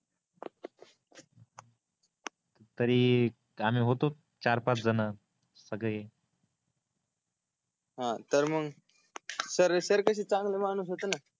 तरी आम्ही होते चार पाच जन सगळे हा तर मग अह सर सर कसे चांगले माणूस होते न